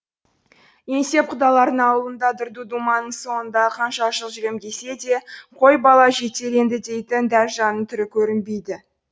еңсеп құдалардың аулында дырду думанның соңында қанша жыл жүрем десе де қой бала жетер енді дейтін дәржанның түрі көрінбейді